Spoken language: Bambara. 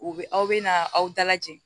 U bɛ aw bɛ na aw dalajɛ